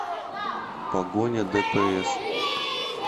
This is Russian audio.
погоня дпс